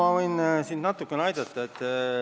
Aga ma võin siin natukene aidata.